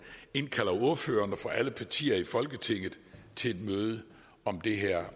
indkalder ordførerne for alle partier i folketinget til et møde om det her